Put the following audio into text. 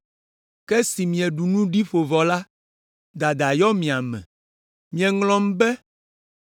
Ke esi mieɖu nu ɖi ƒo vɔ la, dada yɔ mia me, mieŋlɔm be,